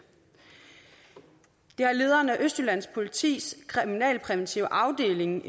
det har lederen af østjyllands politis kriminalpræventive afdeling